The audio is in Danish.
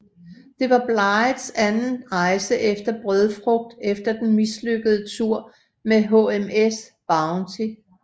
Det var Blighs anden rejse efter brødfrugt efter den mislykkede tur med HMS Bounty